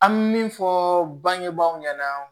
An bɛ min fɔ bangebaaw ɲɛna